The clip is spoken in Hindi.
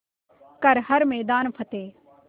कर हर मैदान फ़तेह